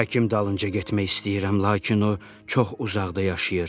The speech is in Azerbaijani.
Həkim dalınca getmək istəyirəm, lakin o çox uzaqda yaşayır.